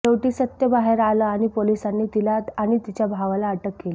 शेवटी सत्य बाहेर आले आणि पोलिसांनी तिला आणि तिच्या भावाला अटक केली